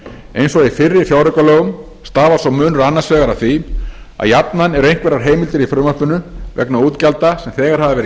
eins og í fyrri fjáraukalögum stafar sá munur annars vegar af því að jafnan eru einhverjar heimildir í frumvarpinu vegna útgjalda sem þegar hafa verið